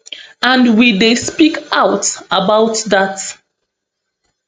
and we dey speak out about dat